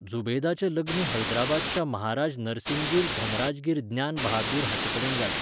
जुबेदाचें लग्न हैदराबादच्या महाराज नरसिंगीर धनराजगीर ज्ञान बहादुर हाचेकडेन जालें.